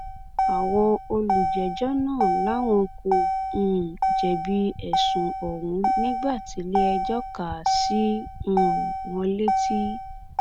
àwọn olùjẹjọ náà làwọn kò um jẹbi ẹsùn ọhún nígbà tíléẹjọ kà á sí um wọn létí